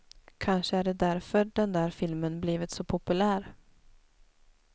Kanske är det därför den där filmen blivit så populär.